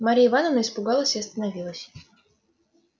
марья ивановна испугалась и остановилась